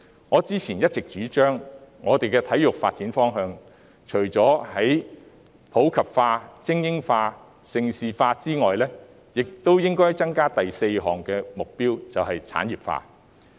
我之前一直主張，香港的體育發展方向，除普及化、精英化、盛事化外，亦應增加第四項目標，便是產業化。